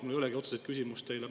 Mul ei olegi otseselt küsimust teile.